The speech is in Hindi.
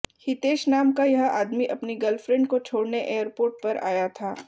हितेश नाम का यह आदमी अपनी गर्लफ्रेंड को छोडऩे एयरपोर्ट पर आया था